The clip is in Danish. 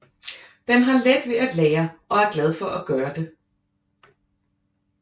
Den har let ved at lære og er glad for at gøre det